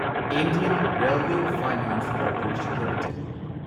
Indian railway finance corporation limited